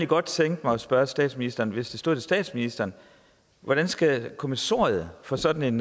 godt tænke mig at spørge statsministeren hvis det stod til statsministeren hvordan skal kommissoriet for sådan